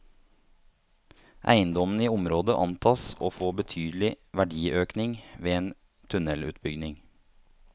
Eiendommene i området antas å få betydelig verdiøkning ved en tunnelutbygging.